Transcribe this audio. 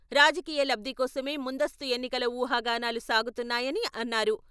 రాజకీయ లబ్ధికోసమే ముందస్తు ఎన్నికల ఉహాగానాలు సాగుతున్నాయని అన్నారు.